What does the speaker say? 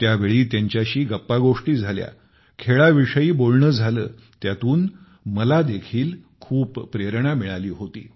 त्यावेळी त्यांच्याशी गप्पागोष्टी झाल्या खेळाविषयी बोलणे झाले त्यातून मला देखील खूप प्रेरणा मिळाली होती